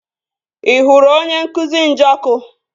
Ị hụrụ onye nkụzi Njọkụ?